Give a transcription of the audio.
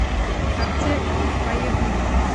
аптека поехали